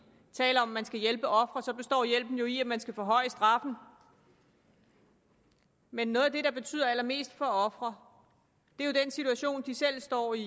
tale om at man skal hjælpe ofre består hjælpen jo i at man skal forhøje straffen men noget af det der betyder allermest for ofre er den situation de selv står i